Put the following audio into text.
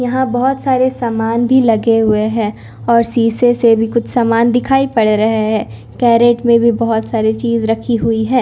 यहां बहुत सारे सामान भी लगे हुए हैं और शीशे से भी कुछ सामान दिखाई पड़ रहे हैं कैरेट में भी बहुत सारी चीज रखी हुई है।